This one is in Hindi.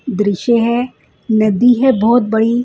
दृश्य है नदी है बहोत बड़ी--